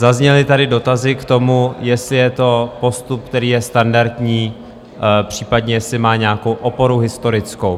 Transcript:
Zazněly tady dotazy k tomu, jestli je to postup, který je standardní, případně jestli má nějakou oporu historickou.